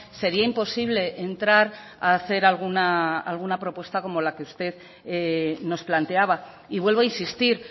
sería imposible entrar a hacer alguna propuesta como la que usted nos planteaba y vuelvo a insistir